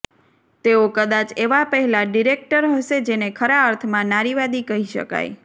તેઓ કદાચ એવા પહેલા ડિરેક્ટર હશે જેને ખરા અર્થમાં નારીવાદી કહી શકાય